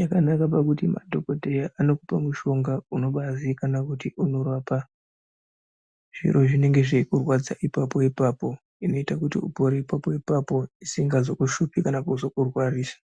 yakanaka pakuti madhokoteya anokupa mushonga unobai zivikanwa kuti unorapa zviro zvinenge zvei kurwadza ipapo ipapo inooita kuti upore ipapo ipapo isinga zoku shupi kana kuzo kurwarisa.